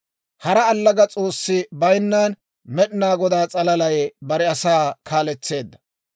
Hara allaga s'oossi bayinnan, Med'inaa Godaa s'alalay bare asaa kaaletseedda.